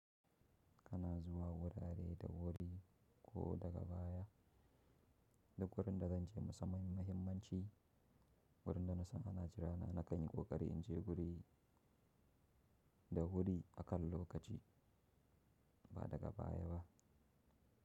Kana zuwa wurare da wuri, ko daga baya? Duk wurin da zan je musamman me mahimmanci, wurin da na san ana jira na, na kan yi ƙoƙari in je guri da wuri akan lokaci ba daga baya ba.